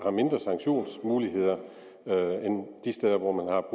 sanktionsmuligheder end de steder hvor man har